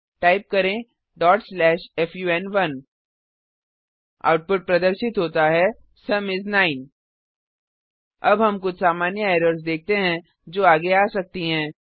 type करें fun1 output प्रदर्शित होता है160 सुम इस 9 अब हम कुछ सामान्य एरर्स देखते हैं जो आगे आ सकती हैं